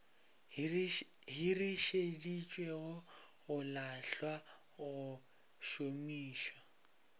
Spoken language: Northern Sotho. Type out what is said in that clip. hirišeditšwego go lahlwa go šomišwa